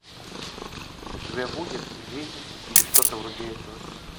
у тебя будет жизнь или что то вроде этого